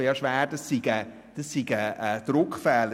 Ich hoffe schwer, das sei ein Druckfehler.